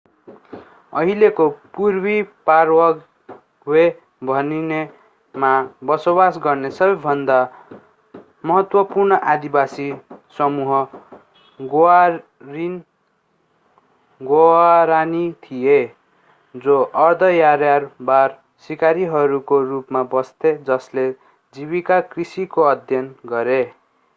अहिलेको पूर्वी पाराग्वे भनिनेमा बसोवास गर्ने सबैभन्दा महत्त्वपूर्ण आदिवासी समूह ग्वारानी थिए जो अर्ध-यायावर सिकारीहरूको रूपमा बस्थे जसले जीविका कृषिको अभ्यास गरे